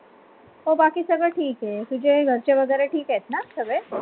हो बाकी सगळं ठीक आहे तुझे घरचे वगैरे ठीक आहेत ना सगडे